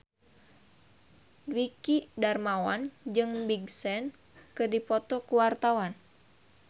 Dwiki Darmawan jeung Big Sean keur dipoto ku wartawan